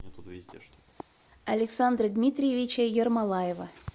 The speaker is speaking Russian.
александра дмитриевича ермолаева